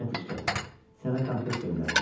Netyişka, sənə konfet göndərirəm.